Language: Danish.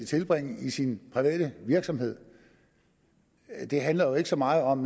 tilbringe i sin private virksomhed det handler jo ikke så meget om